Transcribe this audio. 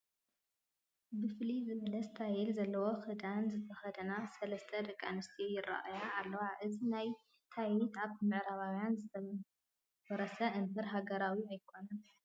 ፍልይ ዝበለ ስታይል ዘለዎ ክዳን ዝተኸደና ሰለስተ ደቂ ኣንስትዮ ይርአያ ኣለዋ፡፡ እዚ ናይ ታይት ካብ ምዕራባውያን ዝተወረሰ እምበር ሃገራዊ ኣይኮነን፡፡